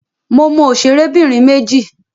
Mo mọ òṣèrẹ́bìnrin méjì.